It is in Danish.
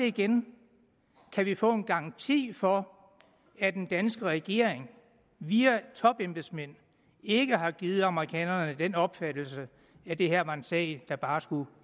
igen kan vi få en garanti for at den danske regering via topembedsmænd ikke har givet amerikanerne den opfattelse at det her var en sag der bare skulle